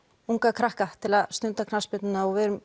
unga krakka til að stunda knattspyrnuna og við erum